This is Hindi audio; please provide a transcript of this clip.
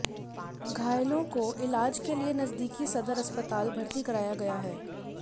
घायलों को इलाज के लिए नजदीकी सदर अस्पताल भर्ती कराया गया है